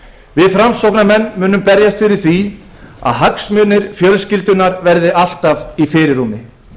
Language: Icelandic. við framsóknarmenn viljum að hagsmunir fjölskyldunnar verði alltaf í fyrirrúmi